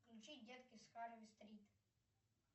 включить детки с харви стрит